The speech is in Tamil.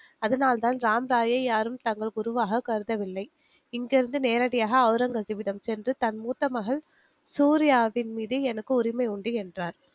அதனால் தான் ராம்ராயை யாரும் தங்கள் குருவாக கருதவில்லை. இங்கிருந்து நேரடியாக ஒளரங்கசீப்பிடம் சென்று தன் மூத்தமகள் சூரியாவின் மீது எனக்கு உரிமை உண்டு என்றார்